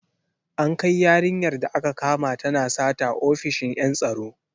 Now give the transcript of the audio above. An kai yarinyar da aka kama tana sata ofishin en tsaro.